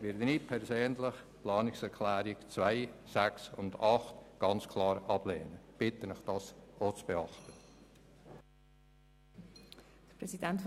Deshalb lehne ich persönlich die Planungserklärungen 2, 6 und 8 ganz klar ab und bitte Sie, das auch zu tun.